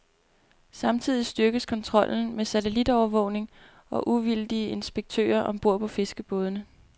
Samtidig styrkes kontrollen med satellitovervågning og uvildige inspektører om bord på fiskerbådene.